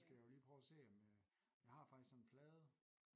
Så skal jeg jo lige prøve at se om øh jeg har faktisk sådan en plade